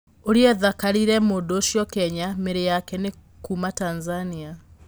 ũria tharĩkĩire mũndũũcio Kenya, mĩri yake nĩ kuuma Tanzania.